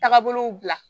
Tagabolow bila